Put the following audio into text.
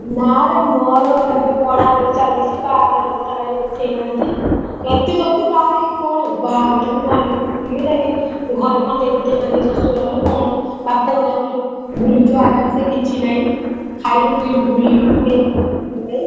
ନା ରେ ମୋର ଏବେ ପଢାପଢି ଚାଲିଛି ବାହାଘର କଥା କାଇଁ ଉଠେଇନାହାନ୍ତି ଏତେ ଜଲ୍ଦି ବାହାହେଇକି କଣ ବାହାହବା ଟା ବି ଭଲ ଘରେ ଖଟେଇ ଖଟେଇ ମାରିବେ ଶଶୁରଘର କଣ ବାପଘରେ ଆହୁରି ବୁଲୁଛୁ ଆରାମ ସେ କିଛି ନାହିଁ ଖାଇଲୁ ପିଲୁ ବୁଲିଲୁ କେହି କହିବାକୁ ନାହିଁ।